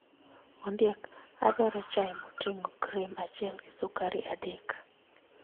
Ondiek, adwaro chai moting'o cream achiel gi sukari adek.